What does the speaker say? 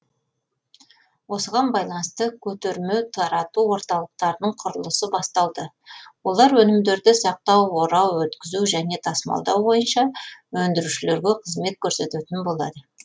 осыған байланысты көтерме тарату орталықтарының құрылысы басталды олар өнімдерді сақтау орау өткізу және тасымалдау бойынша өндірушілерге қызмет көрсететін болады